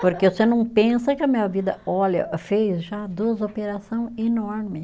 Porque você não pensa que a minha vida, olha, fez já duas operação enorme.